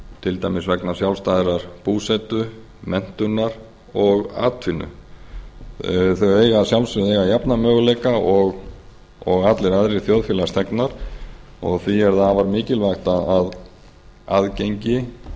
til dæmis vegna sjálfstæðrar búsetu menntunar og atvinnu þau eiga að sjálfsögðu að eiga jafna möguleika og allir aðrir þjóðfélagsþegnar og því er það afar mikilvægt að aðgengi